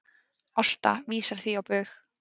Ásta vísar því á bug